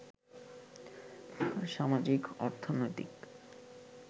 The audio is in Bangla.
সামাজিক, অর্থনৈতিক